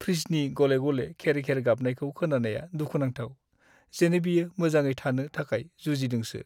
फ्रिजनि गले-गले खेर-खेर गाबनायखौ खोनानाया दुखु नांथाव, जेन' बियो मोजाङै थानो थाखाय जुजिदोंसो।